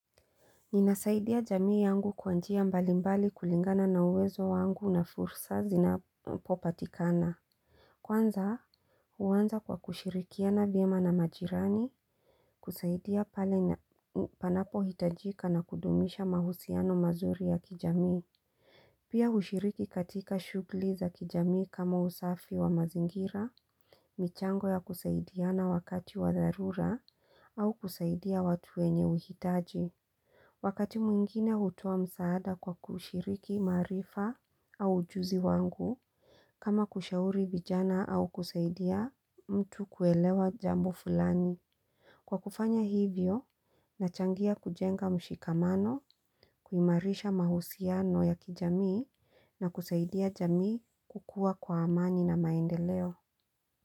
Ninasaidia jamii yangu kwa njia mbalimbali kulingana na uwezo wangu na fursa zinapopatikana. Kwanza huanza kwa kushirikiana vyema na majirani, kusaidia pale na panapohitajika na kudumisha mahusiano mazuri ya kijamii. Pia hushiriki katika shughuli za kijamii kama usafi wa mazingira, michango ya kusaidiana wakati wa dharura au kusaidia watu wenye uhitaji. Wakati mwingine hutoa msaada kwa kushiriki maarifa au ujuzi wangu, kama kushauri vijana au kusaidia mtu kuelewa jambo fulani. Kwa kufanya hivyo, nachangia kujenga mshikamano, kuimarisha mahusiano ya kijamii na kusaidia jamii kukua kwa amani na maendeleo.